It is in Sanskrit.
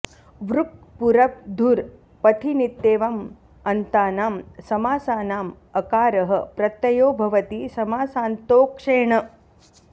ऋक् पुरप् धुर् पथिनित्येवम् अन्तानां समासानाम् अकारः प्रत्ययो भवति समासान्तो ऽक्षे न